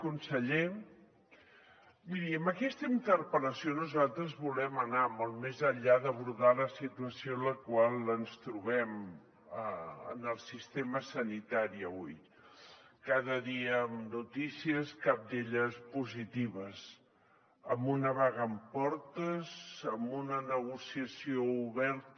conseller miri amb aquesta interpel·lació nosaltres volem anar molt més enllà d’abordar la situació en la qual ens trobem en el sistema sanitari avui cada dia amb notícies cap d’elles positiva amb una vaga en portes amb una negociació oberta